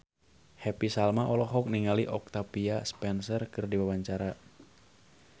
Happy Salma olohok ningali Octavia Spencer keur diwawancara